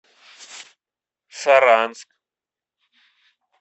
саранск